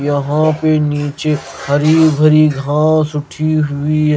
यहां पे नीचे हरी भरी घास उठी हुई--